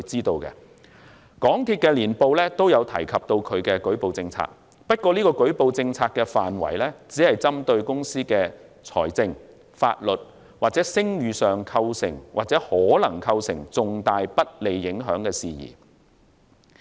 港鐵公司的年報也有提及其舉報政策，不過這個舉報政策的範圍只針對公司的財政、法律或聲譽上構成或可能構成重大不利影響的事宜。